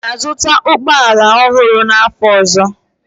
Ị ga-azụta ụgbọ ala ọhụrụ n'afọ ọzọ?